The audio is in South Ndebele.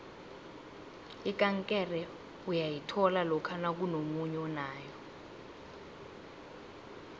ikankere uyayithola lokha nakunomunye onayo